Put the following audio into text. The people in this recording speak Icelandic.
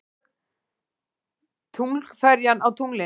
Tunglferjan á tunglinu.